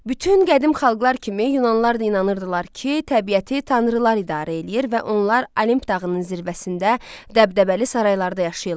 Bütün qədim xalqlar kimi Yunanlılar da inanırdılar ki, təbiəti tanrılar idarə eləyir və onlar Olimp dağının zirvəsində dəbdəbəli saraylarda yaşayırlar.